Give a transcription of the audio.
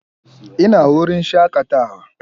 Ina wurin shakatawa?